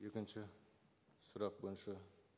екінші сұрақ бойынша